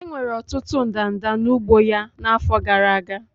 Enwere ọtụtụ ndanda n'ugbo ya n'afọ gara aga.